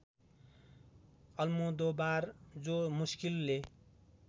Almodovar जो मुस्किलले